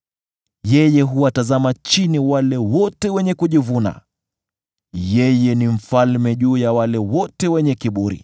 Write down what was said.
Yeye huwatazama chini wale wote wenye kujivuna; yeye ni mfalme juu ya wote wenye kiburi.”